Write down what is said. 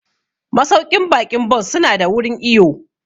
Masauƙin baƙi Bon su na da wurin iwo